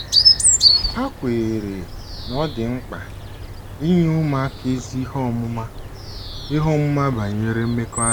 Ha kweere na ọ dị mkpa inye ụmụaka ezi ihe ọmụma ihe ọmụma banyere mmekọahụ.